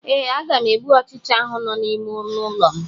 Ee, aga m egbu ọchịcha ahụ nọ n'ime ọnụ ụlọ m.